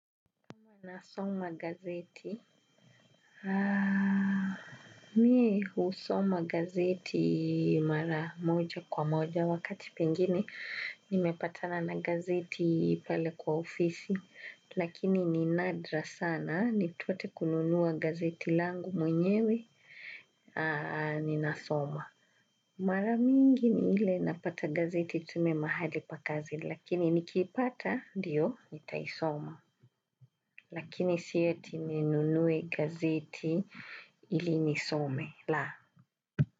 Nasoma gazeti. Mi husoma gazeti mara moja kwa moja wakati pengine. Nimepatana na gazeti pale kwa ofisi. Lakini ni nadra sana. Nipate kununua gazeti langu mwenyewe. Ninasoma. Mara mingi ni ile napata gazeti tu mahali pa kazi. Lakini nikipata ndio nitaisoma. Lakini si eti ninunue gazeti ili nisome, la.